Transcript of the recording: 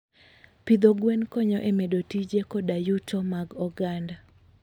Pidho gwen konyo e medo tije koda yuto mag oganda.